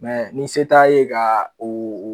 ni se t'a ye ka o